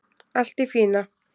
Allt í fína